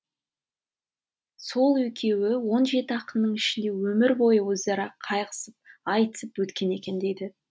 сол екеуі он жеті ақынның ішінде өмір бойы өзара қайғысып айтысып өткен екен дейді